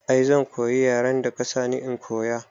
I zan koyi yaren da ka sani in koya